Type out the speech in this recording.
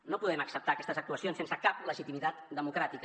no podem acceptar aquestes actuacions sense cap legitimitat democràtica